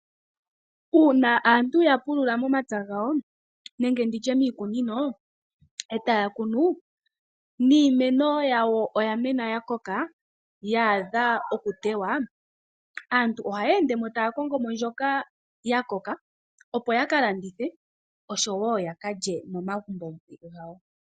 Uuna aantu yapulula momapya gawo nenge miikununo , etaya kunu, iimeno etayi koko yaadha okutewa , aantu ohaya endemo taya kongo mbyoka yakoka, opo yakalandithe oshowoo yaka lye momagumbo gawo.